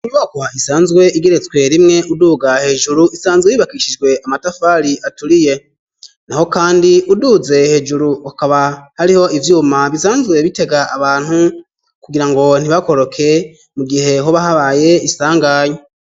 Inyubakwa isanzwe igeretswe rimwe uduga hejuru isanzwe yubakishijwe amatafari aturiye naho kandi uduze hejuru akaba hariho ivyuma bisanzwe bitega abantu kugirango ntibakoroke mu gihe hoba habaye isanganya.